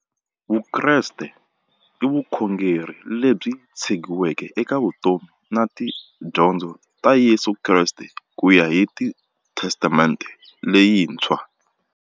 Vukreste i vukhongeri lebyi tshegiweke eka vutomi na tidyondzo ta Yesu Kreste kuya hi testamente leyintshwa.